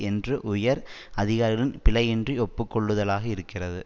என்று உயர் அதிகாரிகள் பிழையின்றி ஒப்பு கொள்ளுதலாக இருக்கிறது